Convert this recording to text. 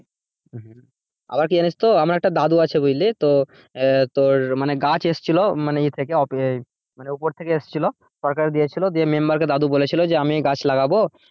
হম আবার কি জানিস তো আমার একটা দাদু আছে বুঝলি? তো আহ তোর মানে গাছ এসেছিলো মানে ইয়ে থেকে মানে আহ ওপর থেকে এসেছিলো সরকার দিয়েছিলো দিয়ে member কে দাদু বলেছিলো যে আমি এই গাছ লাগাবো,